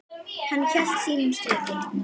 Hann hélt sínu striki.